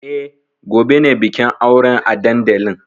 E, gobe ne bikin auren a dandalin.